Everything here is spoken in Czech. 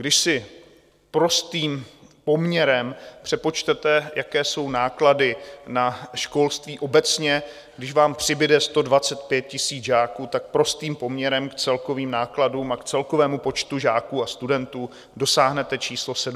Když si prostým poměrem přepočtete, jaké jsou náklady na školství obecně, když vám přibude 125 000 žáků, tak prostým poměrem k celkovým nákladům a k celkovému počtu žáků a studentů dosáhnete číslo 17 miliard.